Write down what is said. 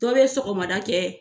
Dɔ bɛ sɔgɔmada kɛ